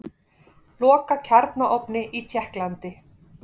Loka kjarnaofni í Tékklandi